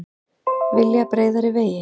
Vilja breiðari vegi